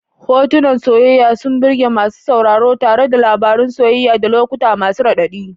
Hotunan soyayya sun burge masu sauraro tare da labarun soyayya da lokuta masu raɗaɗi.